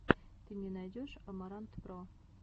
ты мне найдешь амарантпро